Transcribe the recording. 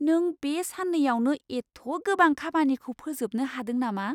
नों बे साननैयावनो एथ' गोबां खामानिखौ फोजोबनो हादों नामा?